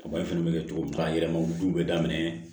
fɛnɛ bɛ kɛ cogo min ka yɛlɛma olu bɛ daminɛ